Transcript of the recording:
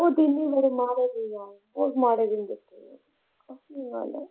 ਇਹ ਦਿਨ ਈ ਬੜੇ ਮਾੜੇ ਨੇ ਯਾਰ ਬਹੁਤ ਮਾਦੇ ਦਿਨ ਦੇਖ ਰਹੇ ਆਂ। ਸੱਚੀ ਗੱਲ ਐ